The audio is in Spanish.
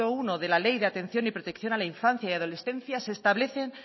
primero de la ley de atención y protección a la infancia y adolescencia se establecen